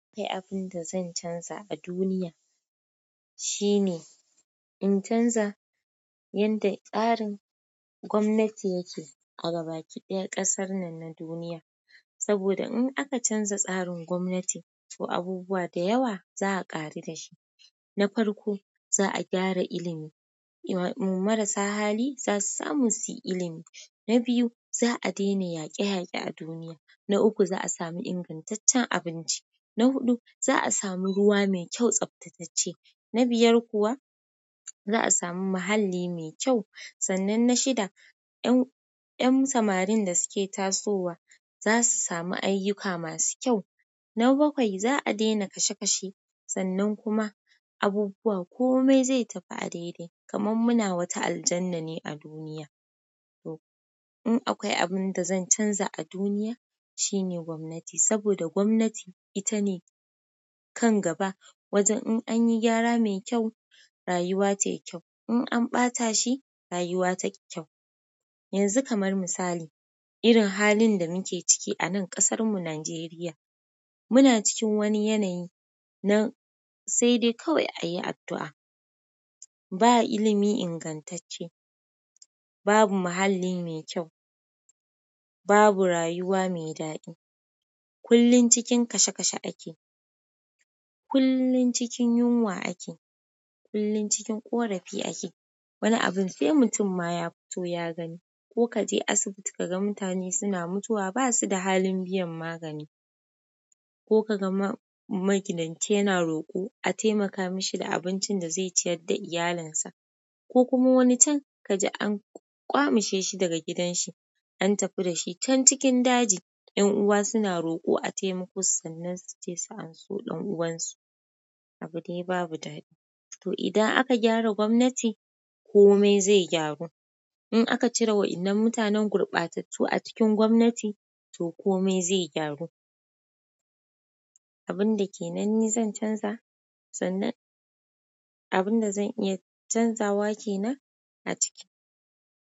Eh, abin da zan canza a duniya shine in canza yadda tsarin gwamnati yake a gaba kiɗaya ƙasar nan na duniya. Saboda in aka canza tsarin gwamnati, to abubuwa da yawa za a ƙare dashi. Na farko, za a gyara ilimi, mara sa hali za su samu su yi ilimi. Na biyu, za a daina yaƙe-yaƙe a duniya. Na uku, za a sami ingantaccen abinci. Na huɗu zaa samu ruwa mai kyau tsaftatacce na biyar kuwa za a samu muhalli mai kyau, sannan na shida, 'yan samarin da suke tasowa za su samu ayyuka masu kyau. Na bakwai, za a daina kashe-kashe sannan kuma abubuwa komai zai tafi a daidai kamar muna wata aljannane a duniya. In akwai abin da zan canza a duniya shine gwamnati, saboda gwamnati ita ne kan gaba wajen in anyi gyara mai kyau rayuwa tayi kyau, in an ɓata shi rayuwa ta ƙi kyau. Yanzu kamar misali, irin halin da muke ciki a nan ƙasarmu Nijeriya, muna cikin wani yanayi na sai dai kawai a yi addu'a. Ba ilimi ingantacce, babu muhalli mai kyau, babu rayuwa mai daɗi. Kullum cikin kashe-kashe ake, kullum cikin yunwa ake, kullum cikin ƙorafi ake. Wani abun sai mutum ma ya fito ya gani. Ko ka je asibiti ka ga mutane suna mutuwa ba su da halin biyan magani. Ko ka ga magidanci yana roƙo a taimaka mashi da abincin da zai ciyar da iyalinsa. Ko kuma wani can ka ji an ƙyamushe shi daga gidan shi, an tafi da shi can cikin daji 'yan uwa suna roƙo a taimako sannan su ce su an so ɗan'uwansu. Abin dai babu daɗi. To idan aka gyara gwamnati komai zai gyaru. In aka cire waɗannan mutanen gurbatattu a cikin gwamnati to komai zai gyaru. Abin da ke nan ni zan canza, sannan abin da zan iya canzawa ke nan a ciki.